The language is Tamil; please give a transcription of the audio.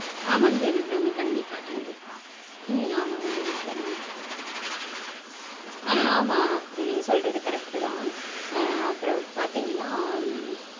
ஆமாங் தேவி அபிராமி. கண்டிப்பா கண்டிப்பா. உம் ஆமாங் தேவி அபிராமி. ஆமா நீங்க சொல்றது correct -தா. அப்பறம் பாத்தீங்கனா